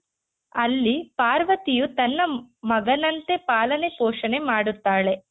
ಅಲ್ಲಿ ಪಾರ್ವತಿಯು ತನ್ನ ಮಗನಂತೆ ಪಾಲನೆ ಪೋಷಣೆ ಮಾಡುತ್ತಾಳೆ.